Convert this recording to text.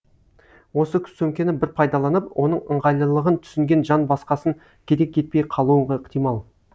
осы сөмкені бір пайдаланып оның ыңғайлылығын түсінген жан басқасын керек етпей қалуы ықтимал